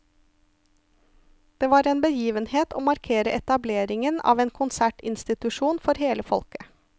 Det var en begivenhet å markere etableringen av en konsertinstitusjon for hele folket.